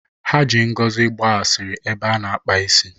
Ha ji Ngozi gbaa asịrị n'ebe a na-akpa isi.